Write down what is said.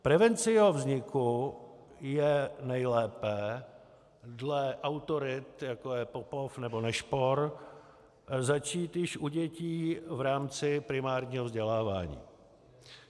Prevenci jeho vzniku je nejlépe dle autorit, jako je Popov nebo Nešpor, začít již u dětí v rámci primárního vzdělávání.